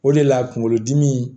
O de la kunkolodimi